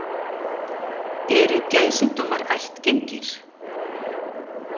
Eru geðsjúkdómar ættgengir?